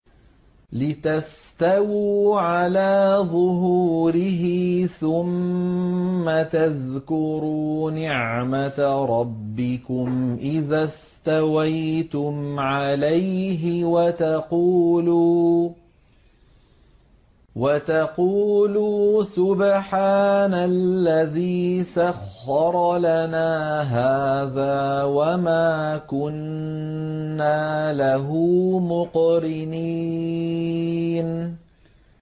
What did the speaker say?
لِتَسْتَوُوا عَلَىٰ ظُهُورِهِ ثُمَّ تَذْكُرُوا نِعْمَةَ رَبِّكُمْ إِذَا اسْتَوَيْتُمْ عَلَيْهِ وَتَقُولُوا سُبْحَانَ الَّذِي سَخَّرَ لَنَا هَٰذَا وَمَا كُنَّا لَهُ مُقْرِنِينَ